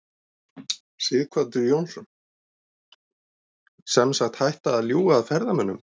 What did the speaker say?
Sighvatur Jónsson: Sem sagt hætta að ljúga að ferðamönnum?